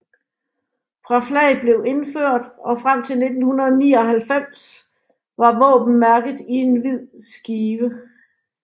Fra flaget blev indført og frem til 1999 var våbenmærket i en hvid skive